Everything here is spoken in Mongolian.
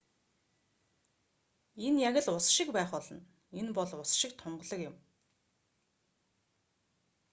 энэ яг л ус шиг байх болно энэ бол ус шиг тунгалаг юм